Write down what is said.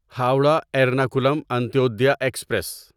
Howrah Ernakulam Antyodaya express